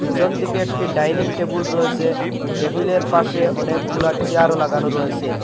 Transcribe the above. পিছন দিকে একটি ডাইনিং টেবিল রয়েসে টেবিলের পাশে অনেকগুলা চেয়ারও লাগানো রয়েসে।